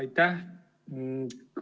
Aitäh!